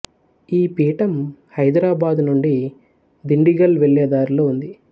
ఈ పీఠం హైదరాబాదు నుండి దిండిగల్ వెళ్ళే దారిలో ఉంది